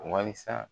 Wasa